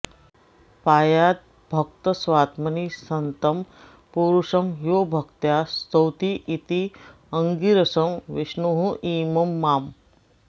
पायाद्भक्तं स्वात्मनि सन्तं पुरुषं यो भक्त्या स्तौतीत्याङ्गिरसं विष्णुरिमं माम्